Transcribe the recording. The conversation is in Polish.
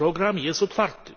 Program jest otwarty.